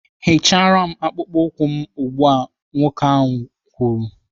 "Hichara m akpụkpọ ụkwụ m ugbu a!" Nwoke ahụ tiri.